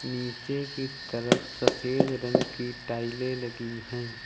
नीचे की तरफ सफेद रंग की टाइलें लगी है।